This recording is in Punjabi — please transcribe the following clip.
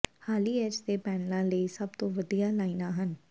ਹਾਲੀ ਐਚ ਦੇ ਪੈਨਲਾਂ ਲਈ ਸਭ ਤੋਂ ਵੱਡੀਆਂ ਲਾਈਨਾਂ ਹਨ